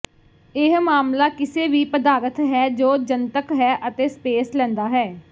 ਇਹ ਮਾਮਲਾ ਕਿਸੇ ਵੀ ਪਦਾਰਥ ਹੈ ਜੋ ਜਨਤਕ ਹੈ ਅਤੇ ਸਪੇਸ ਲੈਂਦਾ ਹੈ